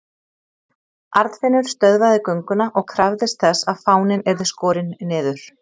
Arnfinnur stöðvaði gönguna og krafðist þess að fáninn yrði skorinn niður.